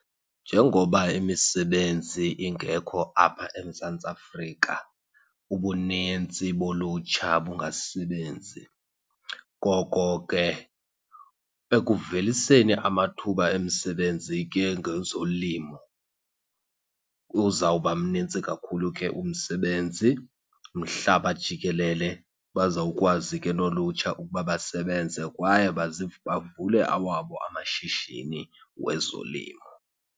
Njengoba imisebenzi ingekho apha eMzantsi Afrika ubunintsi bolutsha bungasebenzi, ngoko ke ekuveliseni amathuba emisebenzi ke ngezolimo uzawuba mnintsi kakhulu ke umsebenzi mhlaba jikelele. Bazawukwazi ke nolutsha ukuba basebenze kwaye bavule awabo amashishini wezolimo.